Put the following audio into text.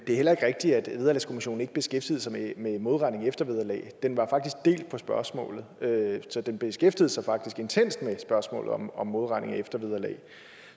det er heller ikke rigtigt at vederlagskommissionen ikke beskæftigede sig med med modregning i eftervederlaget den var faktisk delt på spørgsmålet så den beskæftigede sig faktisk intenst med spørgsmålet om om modregning i eftervederlag